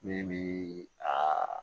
Min bi a